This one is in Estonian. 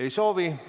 Ei soovi.